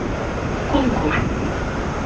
кунгур